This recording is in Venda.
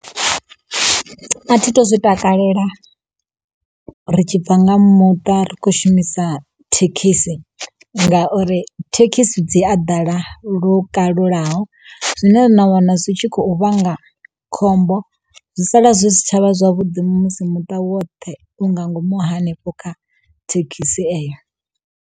A thi tu zwi takalela ri tshi bva nga muṱa ri khou shumisa thekhisi, ngauri thekhisi dzi a ḓala lukalulaho zwine na wana zwi tshi khou vhanga khombo zwi sala zwi si tshavha zwavhuḓi musi muṱa woṱhe u nga ngomu hanefho kha thekhisi eyo.